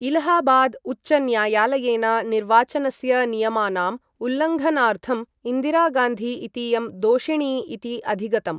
इलाहाबाद् उच्च न्यायालयेन निर्वाचनस्य नियमानाम् उल्लङ्घनार्थम् इन्दिरागान्धी इतीयं दोषिणी इति अधिगतम्।